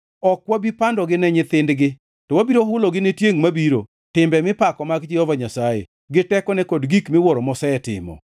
Ok wabi pandogi ne nyithindgi; to wabiro hulogi ne tiengʼ mabiro timbe mipako mag Jehova Nyasaye, gi tekone kod gik miwuoro mosetimo.